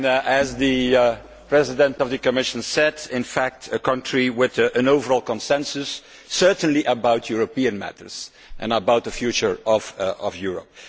As the President of the Commission said, Belgium is, in fact, a country with an overall consensus, certainly about European matters and about the future of Europe.